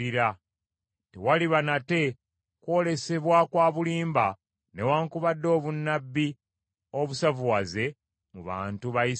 Tewaliba nate kwolesebwa kwa bulimba newaakubadde obunnabbi obusavuwaze mu bantu ba Isirayiri.